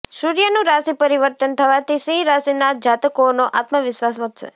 સૂર્યનું રાશિ પરિવર્તન થવાથી સિંહ રાશિના જાતકોનો આત્મવિશ્વાસ વધશે